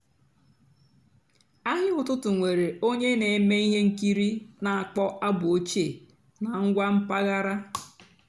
àhị́á ụ́tụtụ́ nwèré ónyé nà-èmée íhé ǹkìrí nà-àkpọ́ àbụ́ òchíé nà ǹgwá m̀pàghàrà.